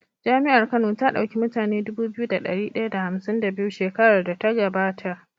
jami'ar kano ta dauki mutune Dubu biyu da dari daya da hamsin da biyu shekarar da ta gaba ta